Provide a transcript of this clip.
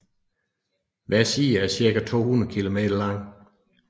Hver side er ca 200 km lang